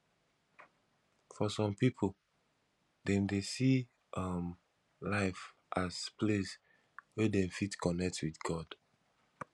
for some pipo dem dey see um life as place wey dem fit connect with god